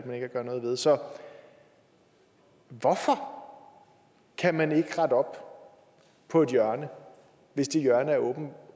gøre noget ved så hvorfor kan man ikke rette op på et hjørne hvis det hjørne er